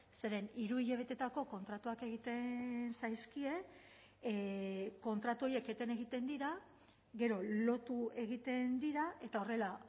zeren hiru hilabeteetako kontratuak egiten zaizkie kontratu horiek eten egiten dira gero lotu egiten dira eta horrela